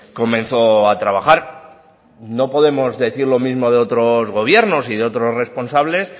comenzó a trabajar no podemos decir lo mismo de otros gobiernos y de otros responsables